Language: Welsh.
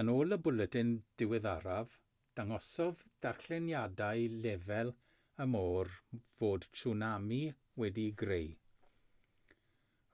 yn ôl y bwletin diweddaraf dangosodd darlleniadau lefel y môr fod tswnami wedi'i greu